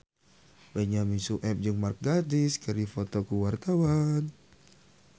Benyamin Sueb jeung Mark Gatiss keur dipoto ku wartawan